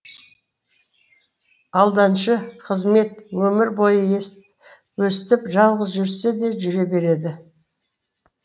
алданышы қызмет өмір бойы өстіп жалғыз жүрсе де жүре береді